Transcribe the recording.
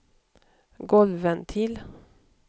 golvventil